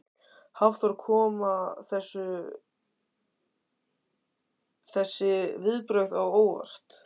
Hafþór: Koma þessi viðbrögð á óvart?